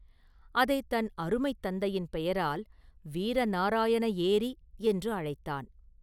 அதைத் தன் அருமைத் தந்தையின் பெயரால் வீரநாராயண ஏரி என்று அழைத்தான்.